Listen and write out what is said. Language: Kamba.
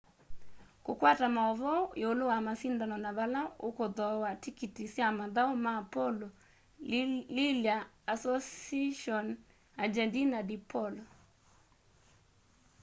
kukwata mauvoo iulu wa masindano na vala ukuthooa tikiti sya mathau ma polo lilya asociacion argentina de polo